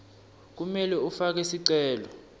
kumele ufake sicelo